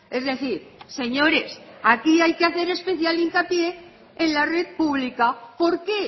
es decir señores aquí hay que hacer especial hincapié en la red pública por qué